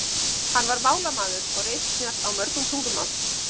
Hann var málamaður og ritsnjall á mörg tungumál.